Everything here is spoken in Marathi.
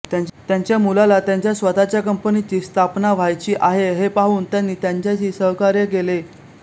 त्यांच्या मुलाला त्यांच्या स्वतःच्या कंपनीची स्थापना व्हायची आहे हे पाहून त्यांनी त्यांच्याशी सहकार्य केले